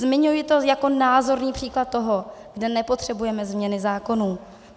Zmiňuji to jako názorný příklad toho, kde nepotřebujeme změny zákonů.